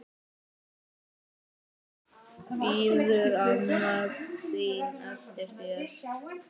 Bíður amma þín eftir þér?